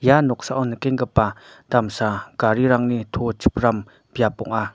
ia noksao nikenggipa damsa garirangni to chipram biap ong·a.